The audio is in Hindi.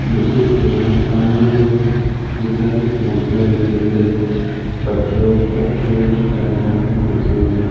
मुझे इस फोटो में सामने की ओर कई सारी मूर्तियां बनी दिखाई पटरों पटरों मे से टाय टाय मूर्तियों में से--